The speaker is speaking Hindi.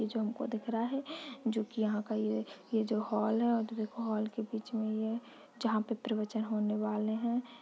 ये जो हमको दिख रहा है जो कि यहाँ का ये जो हॉल है ये हॉल के बीच मे ये जहाँ पे प्रवचन होने वाले है। ]